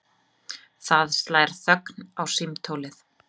Það slær þögn á símtólið.